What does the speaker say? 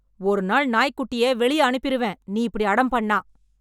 ஒரு நாள் நாய் குட்டிய வெளிய அனுப்பிருவேன் நீ இப்படி அடம் பண்ணா